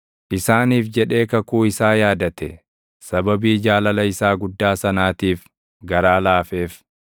isaaniif jedhee kakuu isaa yaadate; sababii jaalala isaa guddaa sanaatiif garaa laafeef.